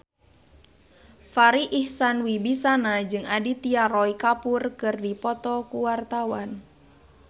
Farri Icksan Wibisana jeung Aditya Roy Kapoor keur dipoto ku wartawan